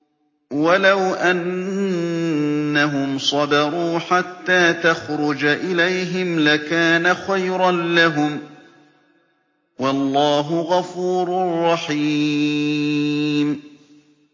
وَلَوْ أَنَّهُمْ صَبَرُوا حَتَّىٰ تَخْرُجَ إِلَيْهِمْ لَكَانَ خَيْرًا لَّهُمْ ۚ وَاللَّهُ غَفُورٌ رَّحِيمٌ